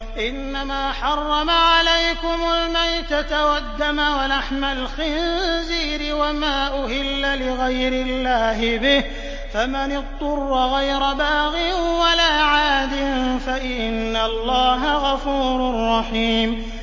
إِنَّمَا حَرَّمَ عَلَيْكُمُ الْمَيْتَةَ وَالدَّمَ وَلَحْمَ الْخِنزِيرِ وَمَا أُهِلَّ لِغَيْرِ اللَّهِ بِهِ ۖ فَمَنِ اضْطُرَّ غَيْرَ بَاغٍ وَلَا عَادٍ فَإِنَّ اللَّهَ غَفُورٌ رَّحِيمٌ